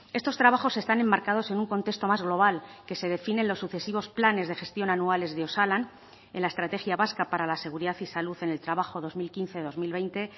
estos trabajos están enmarcados en un contexto más global que se define en los sucesivos planes de gestión anuales de osalan en la estrategia vasca para la seguridad y salud en el trabajo dos mil quince dos mil veinte